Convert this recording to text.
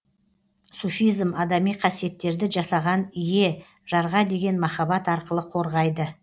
суфизм адами қасиеттерді жасаған ие жарға деген махаббат арқылы қорғайды